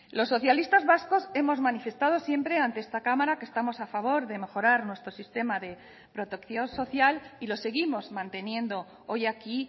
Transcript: los socialistas vascos hemos manifestado siempre ante esta cámara que estamos a favor de mejorar nuestro sistema de protección social y lo seguimos manteniendo hoy aquí